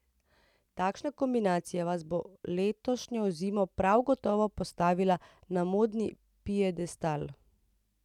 Takšna kombinacija vas bo letošnjo zimo prav gotovo postavila na modni piedestal.